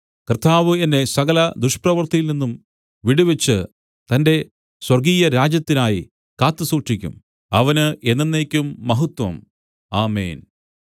കർത്താവ് എന്നെ സകല ദുഷ്പ്രവൃത്തിയിൽനിന്നും വിടുവിച്ച് തന്റെ സ്വർഗ്ഗീയരാജ്യത്തിനായി കാത്തുസൂക്ഷിക്കും അവന് എന്നെന്നേക്കും മഹത്വം ആമേൻ